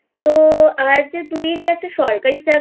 আর যে তুই যে একটা সরকারি চাকরির